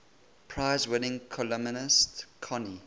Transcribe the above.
prize winning columnist connie